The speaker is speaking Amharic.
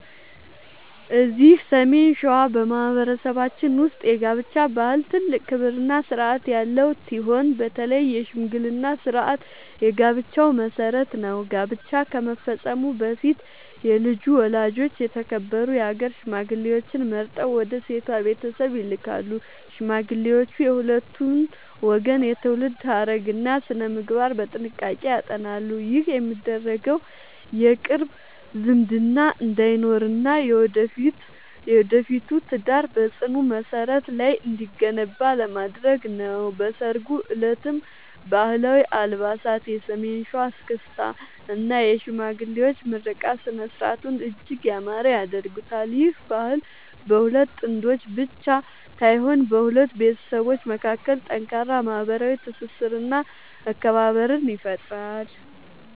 እዚህ ሰሜን ሸዋ በማኅበረሰባችን ውስጥ የጋብቻ ባህል ትልቅ ክብርና ሥርዓት ያለው ሲሆን፣ በተለይ የሽምግልና ሥርዓት የጋብቻው መሠረት ነው። ጋብቻ ከመፈጸሙ በፊት የልጁ ወላጆች የተከበሩ የአገር ሽማግሌዎችን መርጠው ወደ ሴቷ ቤተሰብ ይልካሉ። ሽማግሌዎቹ የሁለቱን ወገን የትውልድ ሐረግና ሥነ-ምግባር በጥንቃቄ ያጠናሉ። ይህ የሚደረገው የቅርብ ዝምድና እንዳይኖርና የወደፊቱ ትዳር በጽኑ መሠረት ላይ እንዲገነባ ለማድረግ ነው። በሠርጉ ዕለትም ባህላዊ አልባሳት፣ የሰሜን ሸዋ እስክስታ እና የሽማግሌዎች ምርቃት ሥነ-ሥርዓቱን እጅግ ያማረ ያደርጉታል። ይህ ባህል በሁለት ጥንዶች ብቻ ሳይሆን በሁለት ቤተሰቦች መካከል ጠንካራ ማኅበራዊ ትስስርና መከባበርን ይፈጥራል።